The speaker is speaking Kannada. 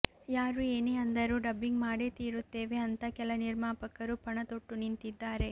ಯಾರು ಏನೇ ಅಂದರೂ ಡಬ್ಬಿಂಗ್ ಮಾಡೇ ತೀರುತ್ತೇವೆ ಅಂತ ಕೆಲ ನಿರ್ಮಾಪಕರು ಪಣ ತೊಟ್ಟು ನಿಂತಿದ್ದಾರೆ